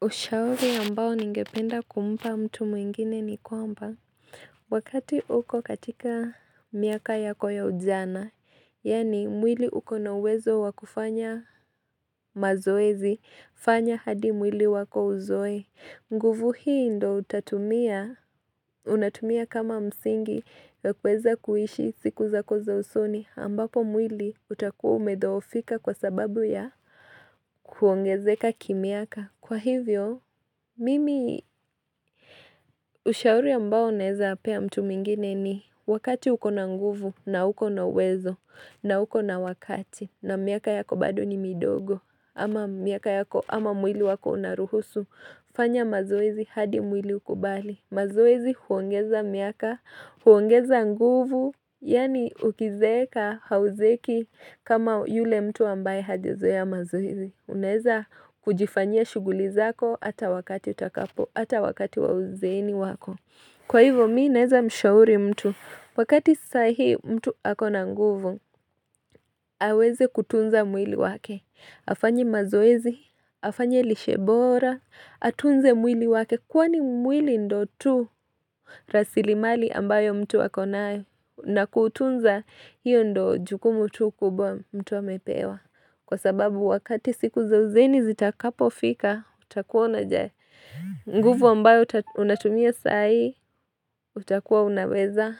Ushauri ambao ningependa kumpa mtu mwengine ni kwamba wakati uko katika miaka yako ya ujana, yaani mwili uko na uwezo wa kufanya mazoezi, fanya hadi mwili wako uzoe. Nguvu hii ndiyo utatumia, unatumia kama msingi ya kuweza kuishi siku zako za usoni ambapo mwili utakuwa umedhoofika kwa sababu ya kuongezeka kimiaka. Kwa hivyo, mimi ushauri ambao naezapea mtu mwengine ni wakati uko na nguvu na uko na uwezo na uko na wakati na miaka yako bado ni midogo ama miaka yako ama mwili wako unaruhusu. Fanya mazoezi hadi mwili ukubali. Mazoezi huongeza miaka, huongeza nguvu, yaani ukizeeka hauzeeki kama yule mtu ambaye hajazoea mazoezi. Unaeza kujifanya shughuli zako hata wakati utakapo, ata wakati wa uzeeni wako. Kwa hivyo mimi naeza mshauri mtu. Wakati sahii mtu akona nguvu, aweze kutunza mwili wake. Afanye mazoezi, afanye lishe bora, atunze mwili wake Kwani mwili ndio tu rasilimali ambayo mtu akonayo na kuutunza hiyo ndiyo jukumu tu kubwa mtu amepewa Kwa sababu wakati siku za uzeeni zitakapofika, utakuona jaye nguvu ambayo unatumia sai, utakuwa unaweza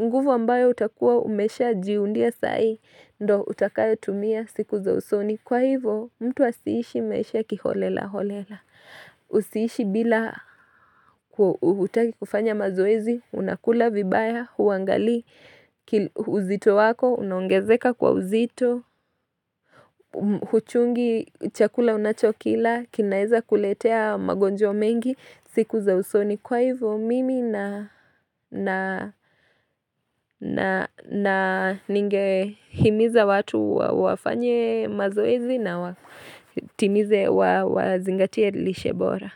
nguvu ambayo utakuwa umeshajiundia sai, ndiyo utakayotumia siku za usoni Kwa hivyo mtu asiishi maisha kiholelaholela Usiishi bila hutaki kufanya mazoezi Unakula vibaya huangalii uzito wako Unaongezeka kwa uzito Huchungi Chakula unachokila kinaeza kuletea magonjwa mengi siku za usoni Kwa hivyo mimi na na ningehimiza watu wafanye mazoezi na watimize wazingatie lishe bora.